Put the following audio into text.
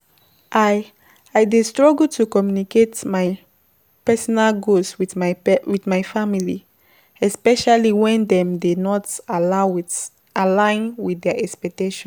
I I dey struggle to communicate my personal goals with my family, especially when dem dey not align with their expectations.